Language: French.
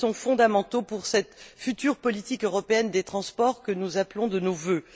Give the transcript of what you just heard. fondamentaux pour cette future politique européenne des transports que nous appelons de nos vœux.